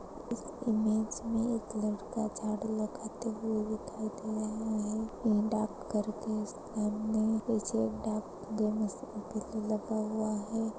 इस इमेज मे एक लड़का झाड़ू लगाते हुए दिखाई दे रहा है। डाक घर के सामने लगा हुआ है।